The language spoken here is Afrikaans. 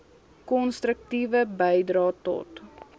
konstruktiewe bydrae tot